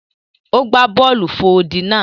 O gba bọọlu fò odi náà.